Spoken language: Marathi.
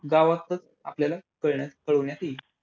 गावातच आपल्याला कळण्या कळविण्यात येईल.